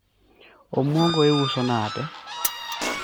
omuogo iuso nade?